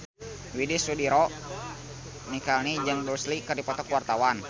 Widy Soediro Nichlany jeung Bruce Lee keur dipoto ku wartawan